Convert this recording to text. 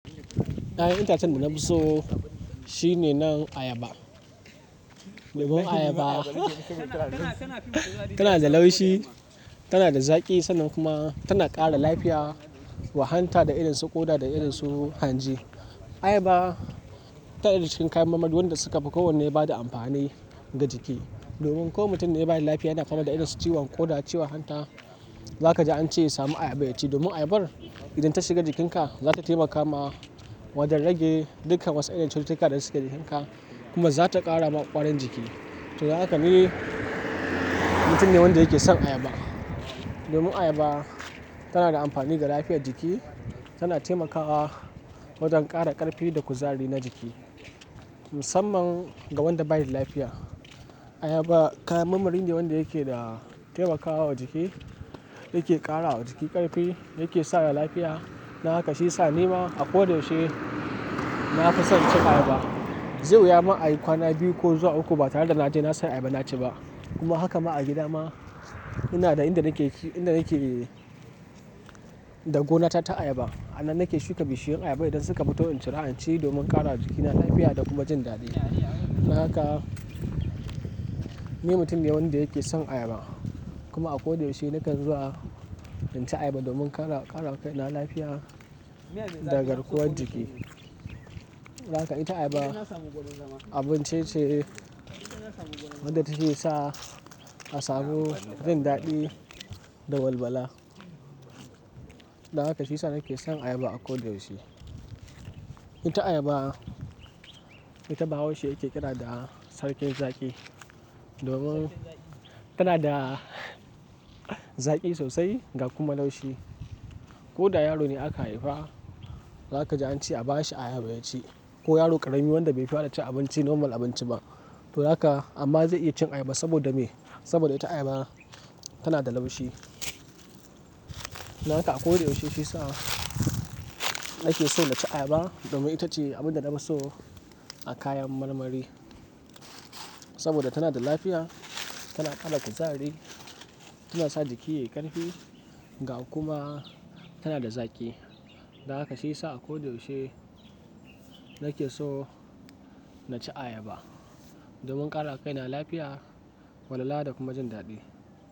Ɗayan itacen da nafi so shine nan ayaba. Limun ayaba tana da laushi, tana da zaƙi sannan kuma tana ƙara lafiya wa hanta da irin su koɗa da irin su hanji. Ayaba tana daga cikin kayan marmari wanda suka fi kowanne ba da amfani ga jiki. Domin ko mutumin baya da lafiya yana fama da irin su ciwon koɗa, ciwan hanta, za ka ji an ce ya sami ayaba ya ci. Domin ayabar idan ta shiga jikinka, za ta taimakawa wajen rage dukkan wasu irin cututtuka da suke jikinka kuma za ta ƙara ma kwarin jiki. To, dan haka ne mutumin ne wanda yake son ayaba. Limun ayaba tana da amfani ga lafiyar jiki, tana taimakawa wajen ƙara ƙarfi da kuzari na jiki. Musamman ga wanda baya da lafiya, ayaba kayan marmari ne wanda yake da taimakawa jiki, yake ƙara wa jiki ƙarfi, yake sa da lafiya. Dan haka shi ya sa ni ma akoda yaushe nafison cin ayaba. Zai wuya ma a yi kwana biyu ko zuwa uku ba tare da naje nasai ayaba na ci ba. Kuma haka ma a gida ma ina da inda nake, inda nake, da gona ta ta ayaba. A nan nake shuka bishiyun ayaba idan suka fito in cira, in ci domin ƙara wa jikina lafiya da kuma jin daɗi. Dan haka ni mutum ne wanda yake son ayaba. Kuma akoda yaushe nakan zuwa in ci ayaba domin ƙara, ƙara kai na lafiya da garkuwar jiki. Dan haka ita ayaba abun ce wadda take sa asabu jin daɗi da walwala. Dan haka shi ya sa nake son ayaba akoda yaushe. Ita ayaba, ita bahaushe yake kira da sarkin zaƙi. Domin tana da zaƙi sosai ga kuma laushi. Ko da yaro ne aka haifa, za ka ji an ce a bashi ayaba ya ci. Ko yaro ƙarami wanda bai fara cin abinci normal abinci ba. To haka amma zai iya cin ayaba saboda me? Saboda ita ayaba tana da laushi. Dan haka akoda yaushe shi ya sa nake so na ci ayaba domin ita ce abin da nafi so a kayan marmari. Saboda tana da lafiya, tana ƙara kuzari, tana sa jiki yayi ƙarfi ga kuma tana da zaƙi. Dan haka shi ya sa akoda yaushe nake so na ci ayaba domin ƙara kai na lafiya, walwala da kuma jin daɗi.